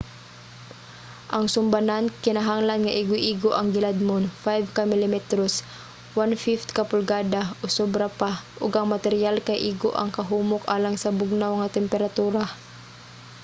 ang sumbanan kinahanglan nga igo-igo ang giladmon 5 ka milimetros 1/5 ka pulgada o sobra pa ug ang materyal kay igo ang kahumok alang sa bugnaw nga temperatura